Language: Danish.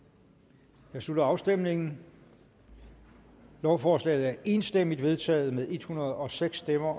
der slutter afstemningen lovforslaget er enstemmigt vedtaget med en hundrede og seks stemmer